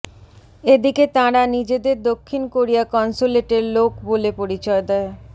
এদিকে তাঁরা নিজেদের দক্ষিণ কোরিয়া কনসুলেটের লোক বলে পরিচয় দেয়